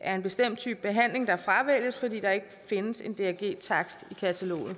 er en bestemt type behandling der fravælges fordi der ikke findes en drg takst i kataloget